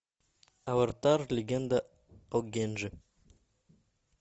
аватар легенда о генджи